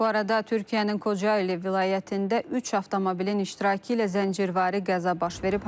Bu arada Türkiyənin Kocayeli vilayətində üç avtomobilin iştirakı ilə zəncirvari qəza baş verib.